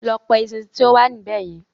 Lọ pa eṣinṣin tí ó wà níbẹ̀ yen